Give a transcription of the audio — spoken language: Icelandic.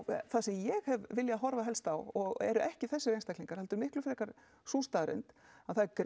það sem ég hef viljað horfa helst á og eru ekki þessir einstaklingar heldur miklu frekar sú staðreynd að það er